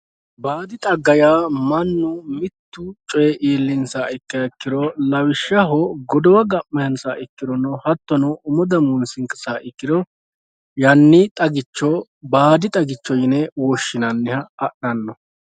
Baadhi xagga yaa mannu mittu coyii iillinsaha ikkiro lawishshaho godowa ga'mawonsaha ikkirono hattono umo damuunsinsaha ikkiro yanni xagicho woy baadi xagicho yine woshshinanniha adhanno